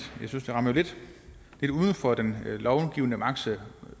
jeg synes det rammer lidt uden for den lovgivende magts